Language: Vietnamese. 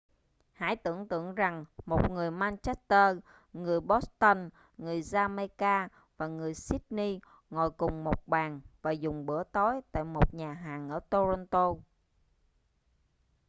hãy tưởng tượng rằng một người manchester người boston người jamaica và người sydney ngồi cùng một bàn và dùng bữa tối tại một nhà hàng ở toronto